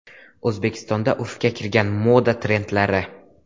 O‘zbekistonda urfga kirmagan moda trendlari.